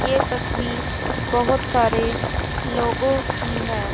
ये तस्वीर बहोत सारे लोगों की हैं।